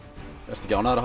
ertu ekki ánægður